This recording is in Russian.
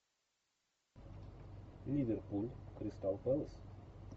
ливерпуль кристал пэлас